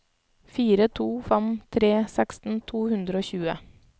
fire to fem tre seksten to hundre og tjue